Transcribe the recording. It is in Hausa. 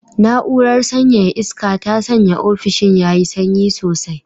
Na'urar sanyaya iska ta sanya ofishin yayi sanyi sosai.